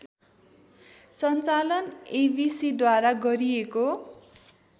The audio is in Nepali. सञ्चालन एबिसिद्वारा गरिएको